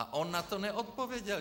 A on na to neodpověděl.